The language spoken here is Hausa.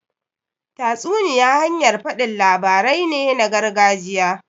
Tatsuniya hanyar faɗin labarai ne na gargajiya.